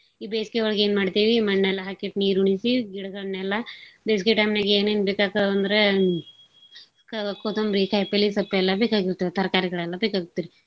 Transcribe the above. ಈ ಬೇಸ್ಗೇ ಒಳಗೇನ್ಮಾಡ್ತೇವೀ ಮಣ್ಣೆಲ್ಲಾ ಹಾಕಿಟ್ ನೀರುಣಿಸೀ ಗಿಡ್ಗಳನ್ನೆಲ್ಲಾ. ಬೇಸ್ಗೇ time ನ್ಯಾಗೇನೇನ್ ಬೇಕಾಗ್ತಾವಂದ್ರೆ ಕ್~ ಕೊತುಂಬ್ರಿ ಕಾಯ್ಪಲ್ಲಿ ಸೊಪ್ ಎಲ್ಲಾ ಬೇಕಾಗಿರ್ತಾವ್ ತರ್ಕಾರಿಗಳೆಲ್ಲಾ ಬೇಕಾಗಿರ್ತಾವ್.